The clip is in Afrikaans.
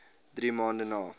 drie maande na